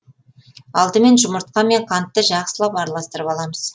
алдымен жұмыртқа мен қантты жақсылап араластырып аламыз